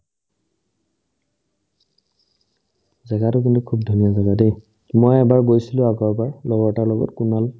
জাগাতো কিন্তু খুব ধুনীয়া জাগা দেই মই এবাৰ গৈছিলো আগৰবাৰ লগৰ এটাৰ লগত কুনাল